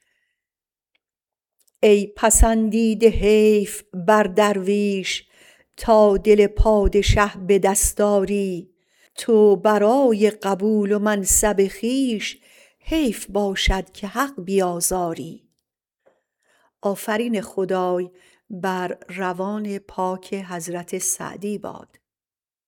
ای پسندیده حیف بر درویش تا دل پادشه به دست آری تو برای قبول و منصب خویش حیف باشد که حق بیازاری